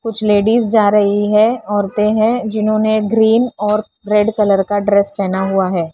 कुछ लेडीज जा रही है औरतें हैं जिन्होंने ग्रीन और रेड कलर का ड्रेस पहना हुआ है।